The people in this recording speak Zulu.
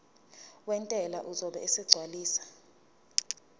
wentela uzobe esegcwalisa